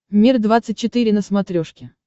мир двадцать четыре на смотрешке